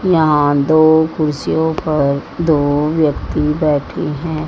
यहां दो कुर्सियों पर दो व्यक्ति बैठे हैं।